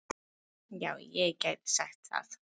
Já, ég gæti sagt það.